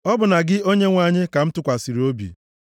Ọ bụ na gị Onyenwe anyị ka m tụkwasịrị obi m.